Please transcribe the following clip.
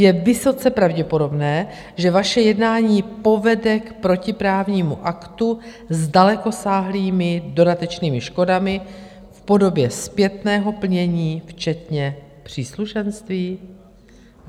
Je vysoce pravděpodobné, že vaše jednání povede k protiprávnímu aktu s dalekosáhlými dodatečnými škodami v podobě zpětného plnění včetně příslušenství?